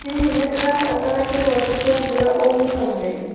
Hihi nĩ ndĩrabatara kĩ goti kĩya mbura ũmũthĩ?